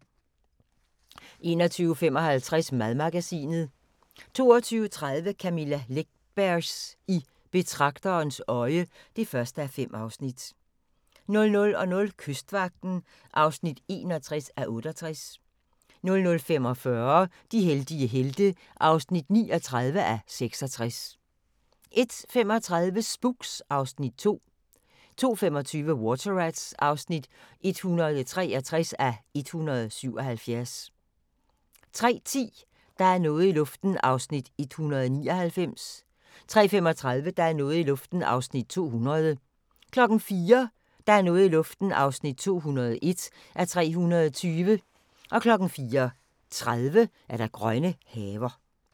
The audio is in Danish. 21:55: Madmagasinet 22:30: Camilla Läckbergs I betragterens øje (1:5) 00:00: Kystvagten (61:68) 00:45: De heldige helte (39:66) 01:35: Spooks (Afs. 2) 02:25: Water Rats (163:177) 03:10: Der er noget i luften (199:320) 03:35: Der er noget i luften (200:320) 04:00: Der er noget i luften (201:320) 04:30: Grønne haver